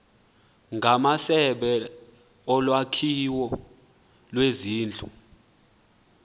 ngamasebe olwakhiwo lwezindlu